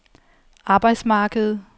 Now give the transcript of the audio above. arbejdsmarkedet